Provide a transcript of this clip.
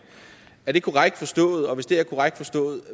er det korrekt forstået og hvis det er korrekt forstået